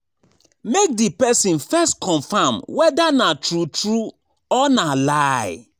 Make di persin first confirm whether na true true or na lie